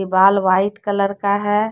दीवाल white colour का है।